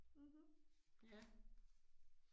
Mhm, ja